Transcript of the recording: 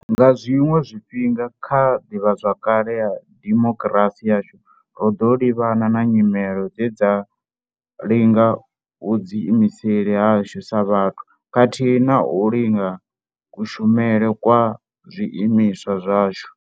Nga zwiṅwe zwifhinga kha ḓivhazwakale ya dimo kirasi yashu, ro ḓo livhana na nyimele dze dza linga vhuḓiimiseli hashu sa vhathu khathihi na u linga kushumele kwa zwiimiswa zwashu.